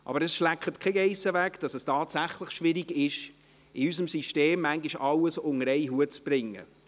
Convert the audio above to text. Aber es schleckt keine Geiss weg, dass es tatsächlich schwierig ist, in unserem System manchmal alles unter einen Hut zu bringen.